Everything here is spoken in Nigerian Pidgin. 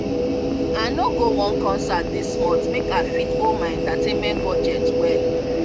i no go one concert this month make i fit hold my entertainment budget well.